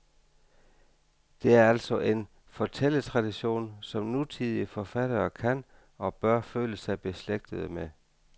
Det er altså en fortælletradition, som nutidige forfattere kan og bør føle sig beslægtede med.